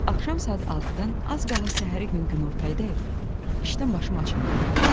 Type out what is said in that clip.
Axşam saat 6-dan az qala səhəri gün günortayadək işdən başım açılmırdı.